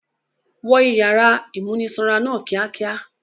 Wọ ìyàrá ìmúnisanra náà kíákíá!